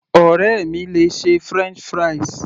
Ọ̀rẹ́ mi le ṣe french fries